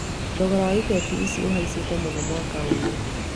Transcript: Thogora wa ibeti ici ũhaicĩte mũno mwaka ũyũ